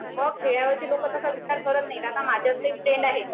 मग खेड्यामधील लोक तसा विचार करत नाही, आता माझे एक फ्रेंड आहेत